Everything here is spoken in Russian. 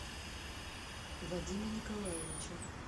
вадима николаевича